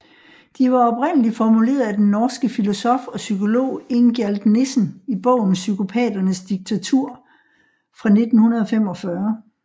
De var oprindeligt formuleret af den norske filosof og psykolog Ingjald Nissen i bogen Psykopaternes diktatur fra 1945